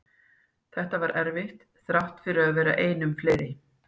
Þetta var erfitt þrátt fyrir að vera einum fleiri.